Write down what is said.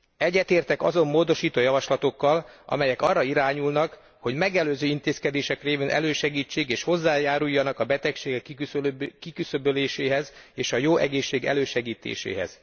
Egyetértek azon módosító javaslatokkal, amelyek arra irányulnak, hogy megelőző intézkedések révén elősegítsék és hozzájáruljanak a betegségek kiküszöböléséhez és a jó egészség elősegítéséhez.